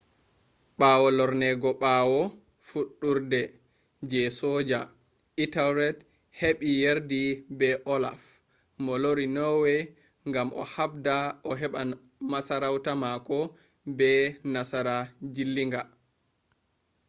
ɓawo lorneego ɓawo fuɗɗurde je soja ethelred heɓi yerdi be olaf mo lori norway gam o habda o heɓa masarauta mako be nasara jilliiga